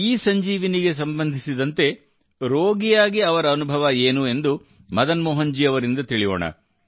E Sanjeevani ಸಂಬಂಧಿಸಿದಂತೆ ರೋಗಿಯಾಗಿ ಅವರ ಅನುಭವ ಏನು ಎಂದು ಮದನ್ ಮೋಹನ್ ಜಿ ಅವರಿಂದ ತಿಳಿಯೋಣ